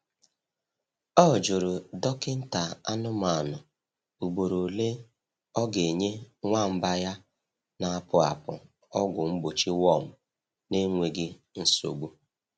Ọ jụrụ dọkịta anụmanụ ugboro ole ọ ga-enye nwamba ya na-apụ apụ ọgwụ mgbochi worm n’enweghị nsogbu.